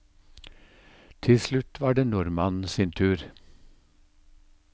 Til slutt var det nordmannen sin tur.